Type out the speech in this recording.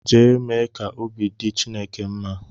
Jee mee ka obi dị Chineke mma!